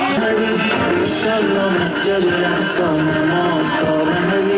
Salam, Məsciddən salam, Mola.